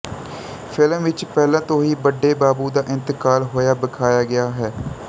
film ਵਿੱਚ ਪਹਿਲਾਂ ਤੋਂ ਹੀ ਵੱਡੇ ਬਾਬੂ ਦਾ ਇੰਤਕਾਲ ਹੋਇਆ ਵਖਾਇਆ ਗਿਆ ਹੈ